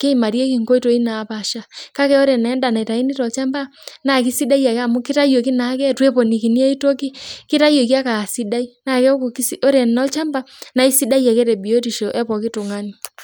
keimarieki inkoitoi naapasha, kake oree naa enda naitauni tolchampa naa kesidai akee amu keitayu nakee itu eponikini aitoki keytayioki ake aa sidai naa keaku oree naa olchampa naa aisidai ake tee biotisho ee pooki tung'ani.